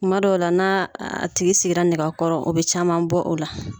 Kuma dɔw la n'a a tigi sigira nɛgɛ kɔrɔ o bɛ caman bɔ o la.